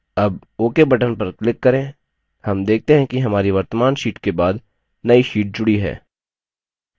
अब ok button पर click करें हम देखते हैं कि हमारी वर्त्तमान sheet के बाद now sheet जुडी है